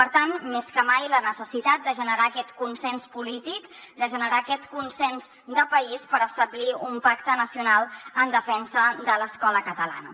per tant més que mai la necessitat de generar aquest consens polític de generar aquest consens de país per establir un pacte nacional en defensa de l’escola catalana